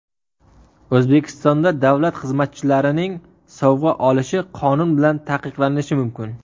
O‘zbekistonda davlat xizmatchilarining sovg‘a olishi qonun bilan taqiqlanishi mumkin.